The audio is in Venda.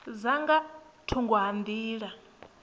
dza nga thungo ha nḓila